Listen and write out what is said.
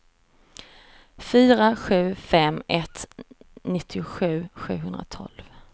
fyra sju fem ett nittiosju sjuhundratolv